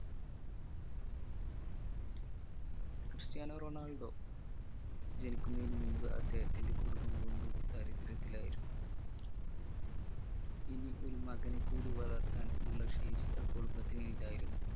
Cristiano Ronaldo ജനിക്കുന്നതിന് മുമ്പ് അദ്ദേഹത്തിന്റെ കുടുംബം കൊടും ദാരിദ്രത്തിലായിരുന്നു ഇനി ഒരു മകനെ കൂടി വളർത്താൻ ഉള്ള ശേഷി ആ കുടുംബത്തിന് ഇല്ലായിരുന്നു